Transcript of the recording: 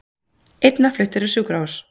Einn var fluttur á sjúkrahús